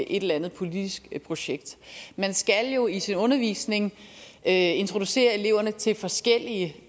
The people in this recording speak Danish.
et eller andet politisk projekt man skal jo i sin undervisning introducere eleverne til forskellige